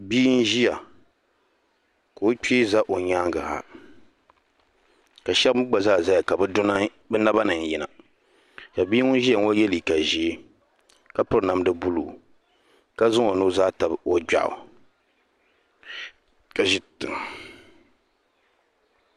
Bia n ʒia ka o kpee za o nyaanga ha ka sheba mee gba ʒɛya ka bɛ nabani n yina ka bia ŋun ʒia ŋɔ ye liiga ʒee ka piri namda buluu ka zaŋ o nuzaa tabi o gbeɣu ka ʒi tiŋa.